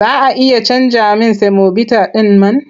Za a iya canja min semobita ɗin man?